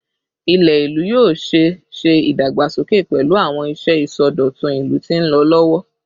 Ilẹ ilu yoo ṣee ṣe idagbasoke pẹlu awọn iṣẹ isọdọtun ilu ti nlọ lọwọ